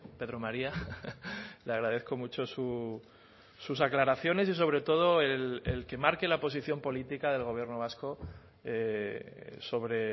pedro maría le agradezco mucho sus aclaraciones y sobre todo el que marque la posición política del gobierno vasco sobre